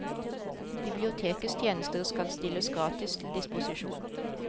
Bibliotekets tjenester skal stilles gratis til disposisjon.